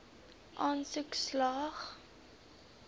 aansoek slaag